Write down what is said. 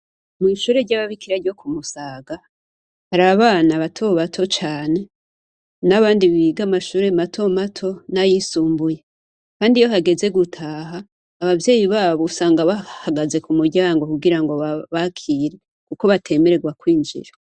Mw'ishure ry'ababikira ryo ku Musaga, hari abana bato bato cane, n'abandi biga mu mashure mato mato n'ayisumbuye, kandi iyo hageze gutaha, abavyeyi babo usanga bahagaze ku muryango kugira ngo babakire, kuko batemerewe kwinjira.